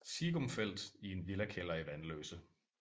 Siegumfeldt i en villakælder i Vanløse